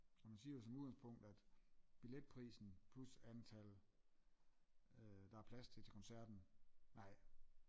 Og man siger jo som udgangspunkt at billetprisen plus antal øh der er plads til koncerten nej